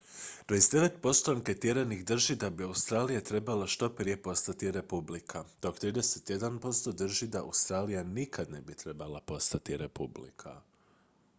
29 posto anketiranih drži da bi australija trebala što prije postati republika dok 31 posto drži da australija nikad ne bi trebala postati republika